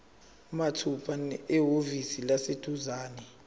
mathupha ehhovisi eliseduzane